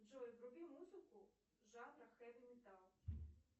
джой вруби музыку жанра хэви металл